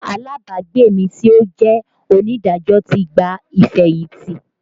Alábàágbé mi tí ó jẹ́ onídàájọ́ ti gba ìfẹ̀yìntì